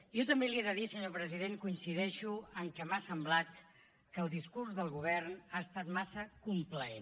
jo també li he de dir senyor president coincideixo en que m’ha semblat que el discurs del govern ha estat massa complaent